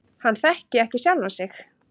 Hann þekki ekki sjálfan sig.